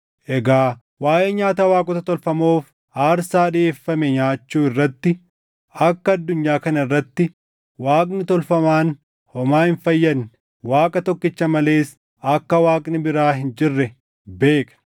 Egaa waaʼee nyaata waaqota tolfamoof aarsaa dhiʼeeffame nyaachuu irratti, “Akka addunyaa kana irratti Waaqni tolfamaan homaa hin fayyadne, Waaqa tokkicha malees akka Waaqni biraa hin jirre” beekna.